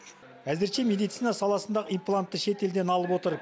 әзірше медицина саласындағы имплантты шетелден алып отыр